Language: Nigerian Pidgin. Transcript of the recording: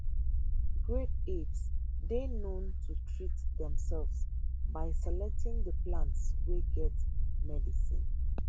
great apes dey known to treat demsefs by selecting di plants wey get medicine